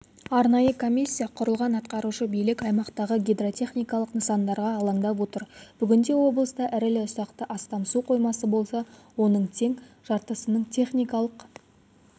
арнайы комиссия құрылған атқарушы билік аймақтағы гидротехникалық нысандарға алаңдап отыр бүгінде облыста ірілі-ұсақты астам су қоймасы болса оның тең жартысының техникалық